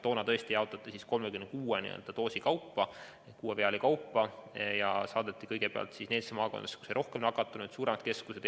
Toona tõesti jaotati vaktsiini 36 doosi ehk kuue viaali kaupa ja saadeti kõigepealt nendesse maakondadesse, kus oli rohkem nakatunuid, suuremad keskused.